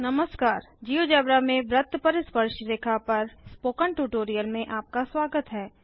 नमस्कार जियोजेब्रा में वृत्त पर स्पर्शरेखा पर इस स्पोकन ट्यूटोरियल में आपका स्वागत है